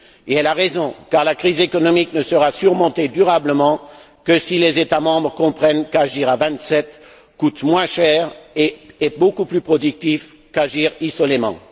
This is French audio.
Elle a raison, car la crise économique ne sera surmontée durablement que si les États membres comprennent qu'agir à Vingt sept coûte moins cher et est beaucoup plus productif qu'agir isolément.